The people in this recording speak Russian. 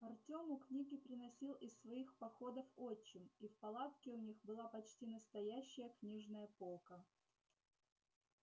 артему книги приносил из своих походов отчим и в палатке у них была почти настоящая книжная полка